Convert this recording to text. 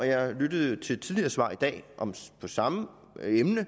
jeg lyttede til et tidligere svar i dag om samme emne og